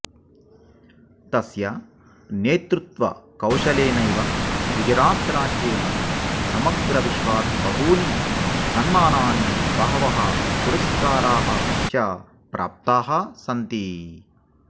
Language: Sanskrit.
तस्य नेतृत्वकौशलेनैव गुजरातराज्येन समग्रविश्वात् बहूनि सन्मानानि बहवः पुरस्काराः च प्राप्ताः सन्ति